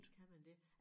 Kan man det?